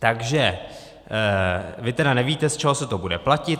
Takže vy teda nevíte, z čeho se to bude platit.